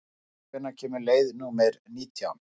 Anetta, hvenær kemur leið númer nítján?